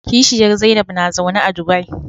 Kishiyar Zainab na zaune a Dubai.